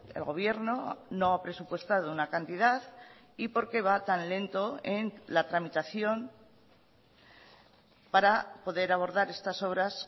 el gobierno no ha presupuestado una cantidad y por qué va tan lento en la tramitación para poder abordar estas obras